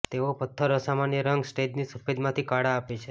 તેઓ પથ્થર અસામાન્ય રંગ સ્ટેજની સફેદ માંથી કાળા આપે છે